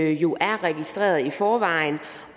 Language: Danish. jo er registrerede i forvejen